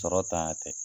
Sɔrɔ tanya tɛ